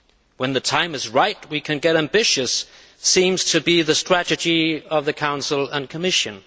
When the time is right we can get ambitious' seems to be the strategy of the Council and Commission.